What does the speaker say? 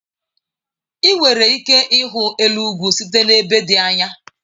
Ị nwere ike ịhụ elu ugwu site n'ebe dị anya.